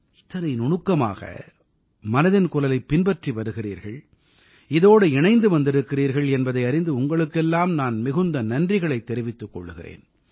இத்தனை நுணுக்கமாக மனதின் குரலைப் பின்பற்றி வருகிறீர்கள் இதோடு இணைந்து வந்திருக்கிறீர்கள் என்பதை அறிந்து உங்களுக்கெல்லாம் நான் மிகுந்த நன்றிகளைத் தெரிவித்துக் கொள்கிறேன்